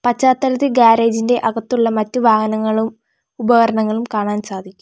പശ്ചാത്തലത്തിൽ ഗ്യാരേജ് ഇന്റെ അകത്തുള്ള മറ്റു വാഹനങ്ങളും ഉപകരണങ്ങളും കാണാൻ സാധിക്കും.